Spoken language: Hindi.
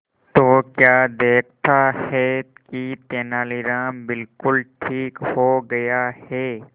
तो क्या देखता है कि तेनालीराम बिल्कुल ठीक हो गया है